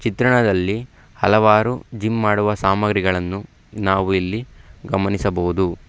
ಚಿತ್ರಣದಲ್ಲಿ ಹಲವಾರು ಜಿಮ್ ಮಾಡುವ ಸಾಮಗ್ರಿಗಳನ್ನು ನಾವು ಇಲ್ಲಿ ಗಮನಿಸಬಹುದು.